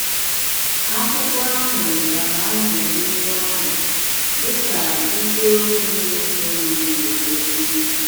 Akwụkwọ ahụ zara ajụjụ ndị ahụ, dị ka isiokwu na-esonụ na-egosi.